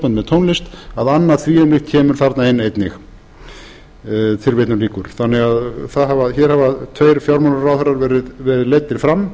með tónlist að annað því um líkt kemur þarna inn einnig hér hafa því tveir fjármálaráðherrar verið leiddir fram